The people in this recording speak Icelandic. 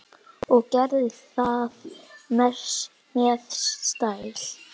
Og gerði það með stæl.